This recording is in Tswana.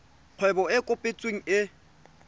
kgwebo e e kopetsweng e